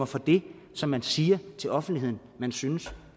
for det som man siger til offentligheden man synes